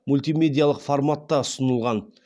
мультимедиялық форматта ұсынылған